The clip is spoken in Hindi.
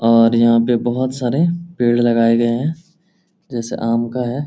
और यहाँ पे बहुत सारे पेड़ लगाए गए हैं जैसे आम का है।